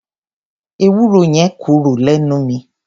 Ewúro yẹn korò lẹ́nu mi.